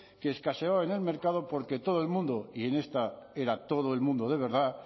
que escaseaba en el mercado porque todo el mundo y en esta era todo el mundo de verdad